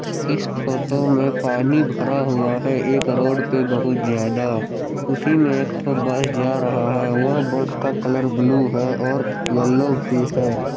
इस फोटो में पानी भरा हुआ है एक रोड पे बहुत ज्यादा उसी में एक तो बस जा रहा है वह बस का कलर ब्लू है और येलो भी है।